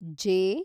J